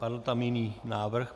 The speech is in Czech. Padl tam jiný návrh?